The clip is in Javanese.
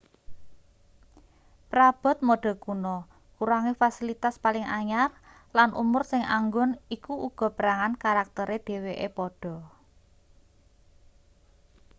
prabot mode kuna kurange fasilitas paling anyar lan umur sing anggun iku uga perangan karaktere dheweke padha